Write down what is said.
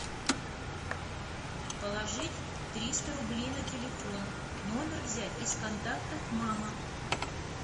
положить триста рублей на телефон номер взять из контактов мама